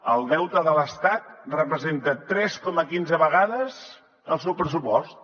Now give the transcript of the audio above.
el deute de l’estat representa tres coma quinze vegades el seu pressupost